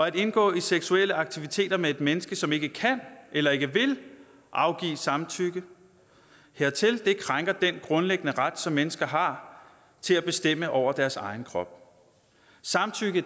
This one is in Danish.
at indgå i seksuelle aktiviteter med et menneske som ikke kan eller ikke vil afgive samtykke hertil krænker den grundlæggende ret som mennesker har til at bestemme over deres egen krop samtykke